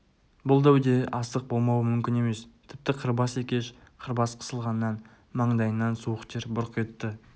бұл дәуде астық болмауы мүмкін емес тіпті қырбас екеш қырбас қысылғаннан маңдайынан суық тер бұрқ етті